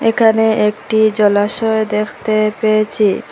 এখানে একটি জলাশয় দেখতে পেয়েচি।